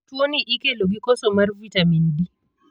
Tuo ni ikelo gi koso mar vitamin D.